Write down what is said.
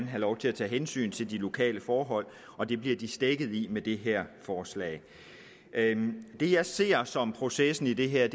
have lov til at tage hensyn til de lokale forhold og det bliver de stækket i med det her forslag det jeg ser som processen i det her